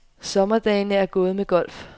Sommerdagene er gået med golf.